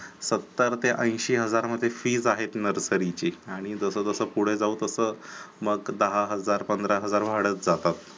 सतर ते ऐंशी हजार मध्ये fees आहे nursery नर्सरीची आणि जसं जसं पुढे जाऊ तसं मग दहा हजार पंधरा हजार वाढत जातात